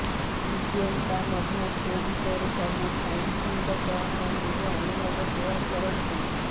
ଦିବ୍ୟଙ୍କା ମଧ୍ୟ ସୋ ବିଷୟରେ ସବୁ ଫ୍ୟାନ୍ସଙ୍କ ସହ ନିଜ ଅନୁଭବ ସେୟାର କରନ୍ତି